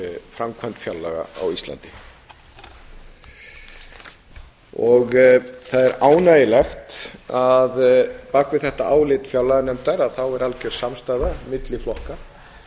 framkvæmd fjárlaga á íslandi það er ánægjulegt að bak við þetta álit fjárlaganefndar er algjör samstaða milli flokka